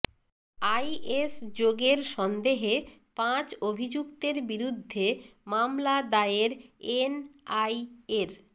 is যোগের সন্দেহে পাঁচ অভিযুক্তের বিরুদ্ধে মামলা দায়ের এনআইএর